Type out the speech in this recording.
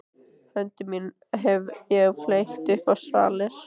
Höndum mínum hef ég fleygt upp á svalir.